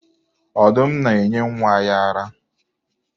Ọdụm na-enye nwa ya ara.